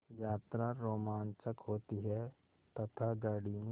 यात्रा रोमांचक होती है तथा गाड़ी में